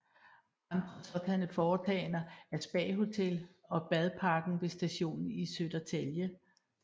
Andre sådanne foretagender er Spa Hotel og Badparken ved stationen i Södertälje